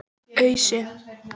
Ausu